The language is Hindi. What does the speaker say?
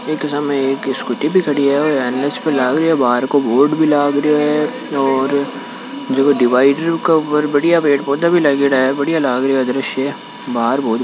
यह सामने के स्कूटी भी खड़ी है अंदर है ओर बाहर बोर्ड भी ला रहियो है जो की दीवार का बदिया पेड़ पौधे भी लगे है बढ़िया लाग रहिया है द्रश्य हे बाहर--